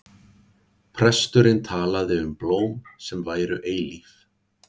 Presturinn talaði um blóm sem væru eilíf.